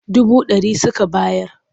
Dubu ɗari suka bayar.